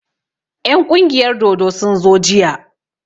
En ƙungiyar dodo sun zo jiya